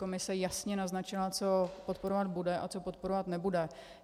Komise jasně naznačila, co podporovat bude a co podporovat nebude.